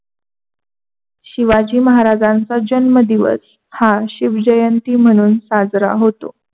शिवाजी महाराजांचा जन्म दिवस हा शिवजयन्ती म्हणून साजरा होतो.